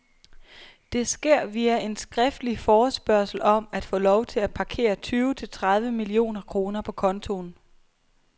Det sker via en skriftlig forespørgsel om at få lov til at parkere tyve til tredive millioner kroner på kontoen.